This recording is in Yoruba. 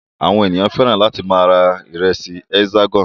Àwọn ènìyàn fẹ́ràn láti máa ra ìrẹsì Hexagon.